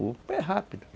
O pé rápido.